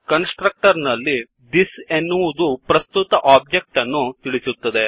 ಕನ್ಸ್ ಟ್ರಕ್ಟರ್ ನಲ್ಲಿ thisದಿಸ್ಎನ್ನುವದು ಪ್ರಸ್ತುತ objectಒಬ್ಜೆಕ್ಟ್ ಅನ್ನು ತಿಳಿಸುತ್ತದೆ